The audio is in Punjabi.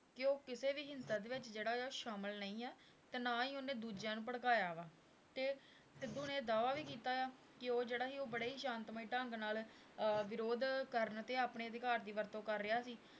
ਕਿ ਉਹ ਕਿਸੇ ਵੀ ਹਿੰਸਾ ਦੇ ਵਿੱਚ ਜਿਹੜਾ ਉਹ ਸ਼ਾਮਿਲ ਨਹੀਂ ਆਂ, ਤੇ ਨਾ ਹੀ ਉਹਨੇ ਦੂਜਿਆਂ ਨੂੰ ਭੜਕਾਇਆ ਵਾ, ਤੇ ਸਿੱਧੂ ਨੇ ਦਾਅਵਾ ਵੀ ਕੀਤਾ ਆ ਕਿ ਉਹ ਜਿਹੜਾ ਸੀ ਉਹ ਬੜੇ ਹੀ ਸ਼ਾਂਤਮਈ ਢੰਗ ਨਾਲ ਅਹ ਵਿਰੋਧ ਕਰਨ ਤੇ ਆਪਣੇ ਅਧਿਕਾਰ ਦੀ ਵਰਤੋਂ ਕਰ ਰਿਹਾ ਸੀ?